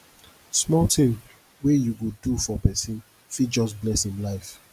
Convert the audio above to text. small tin wey you go do for pesin fit just bless im life